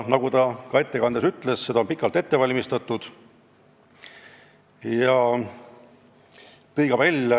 Nagu ta ka oma ettekandes juba ütles, on seda pikalt ette valmistatud.